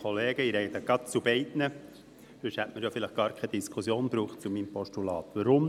Sonst hätte es ja wohl gar keine Diskussion zu meinem Postulat gebraucht.